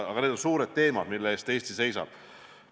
Aga need on suured teemad, mille eest Eesti seisab.